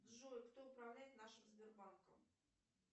джой кто управляет нашим сбербанком